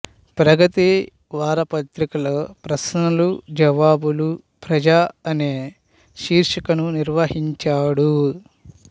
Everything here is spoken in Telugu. ప్రగతి వారపత్రికలో ప్రశ్నలు జవాబులు ప్రజ అనే శీర్షికను నిర్వహించాడు